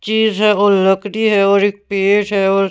चीज है और लकड़ी है और एक पेट है और--